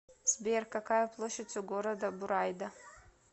сбер какая площадь у города бурайда